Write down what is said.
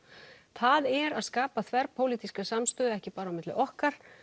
það er að skapa þverpólitíska samstöðu ekki bara á milli okkar